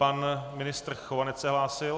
Pan ministr Chovanec se hlásil?